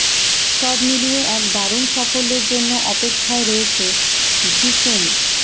সব মিলিয়ে এক দারুন সাফল্যের জন্য অপেক্ষায় রয়েছে ঢিসুম